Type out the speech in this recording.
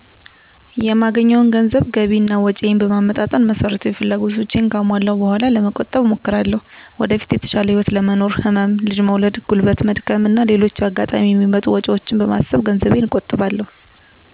የማገኘውን ገንዘብ ገቢ እና ወጭየን በማመጣጠን መሰረታዊ ፍላጎቶቸን ካሟለው በኋላ ለመቆጠብ እሞክራለሁ። ወደፊት የተሻለ ህይወት ለመኖር፣ ህመም፣ ልጅ መውለድ፣ ጉልበት መድከም እና ሌሎችም በአጋጣሚ የሚመጡ ወጭወችን በማሰብ ገንዘቤን እቆጥባለሁ።